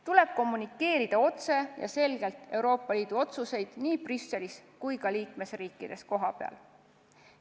Tuleb kommunikeerida otse ja selgelt Euroopa Liidu otsuseid nii Brüsselis kui ka liikmesriikides kohapeal.